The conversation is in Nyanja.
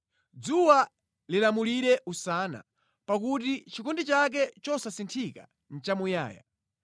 Dzuwa lilamulire usana, pakuti chikondi chake chosasinthika nʼchamuyaya.